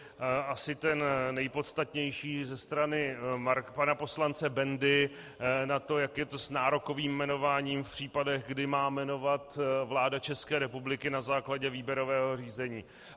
Asi ten nejpodstatnější ze strany pana poslance Bendy na to, jak je to s nárokovým jmenováním v případech, kdy má jmenovat vláda České republiky na základě výběrového řízení.